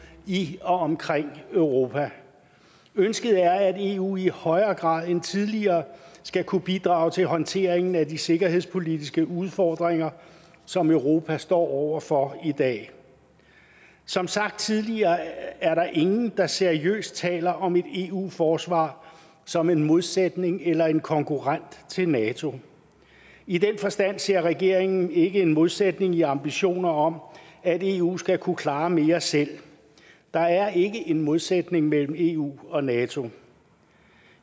i og omkring europa ønsket er at eu i højere grad end tidligere skal kunne bidrage til håndteringen af de sikkerhedspolitiske udfordringer som europa står over for i dag som sagt tidligere er der ingen der seriøst taler om et eu forsvar som en modsætning eller en konkurrent til nato i den forstand ser regeringen ikke en modsætning i ambitioner om at eu skal kunne klare mere selv der er ikke en modsætning mellem eu og nato